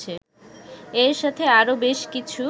এর সাথে আরো বেশ কিছু